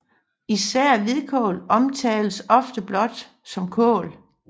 Især hvidkål omtales ofte blot som kål